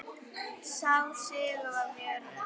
Sá sigur var mjög naumur.